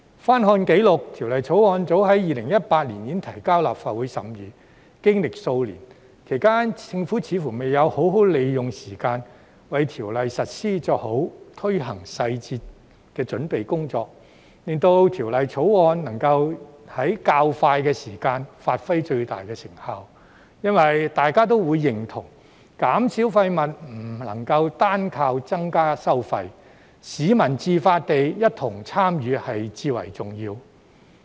翻看紀錄，《條例草案》早在2018年已提交立法會審議，經歷數年，其間政府似乎未有好好利用時間，為條例實施作好推行細節的準備工作，令《條例草案》能在較快時間發揮最大的成效，因為大家都認同，減少廢物不能單靠增加收費，市民自發共同參與至為重要。